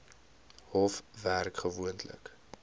hof werk gewoonlik